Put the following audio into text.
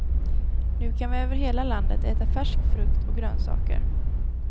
Nu kan vi över hela landet äta färsk frukt och grönsaker.